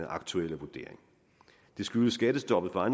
aktuelle vurdering det skyldes skattestoppet for